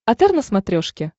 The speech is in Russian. отр на смотрешке